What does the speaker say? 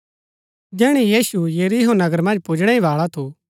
जैहणै यीशु यरीहो नगर मन्ज पुजणै बाळा ही थू